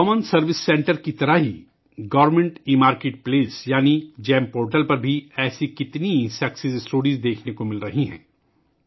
common service centre کی طرح، ایسی کتنی کامیابی کی کہانیاں گورنمنٹ ایمارکیٹ پلیس یعنی جی ای ایم پورٹل پر دیکھنے کو مل رہی ہیں